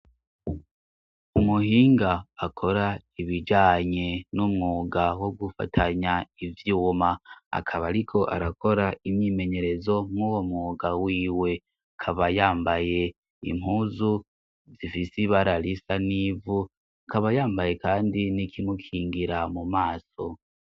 umuhinga akora ibijanye n'umwuga wo gufatanya ivyuma akaba ariko arakora imyimenyerezo nk'uwo mwuga wiwe kaba yambaye impuzu zifise ibara risa n'ivu akaba yambaye kandi n'ikimukingira mu maso